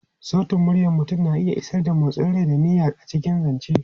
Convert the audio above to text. Sautin muryar mutum na iya isar da motsin rai da niyya a cikin zance.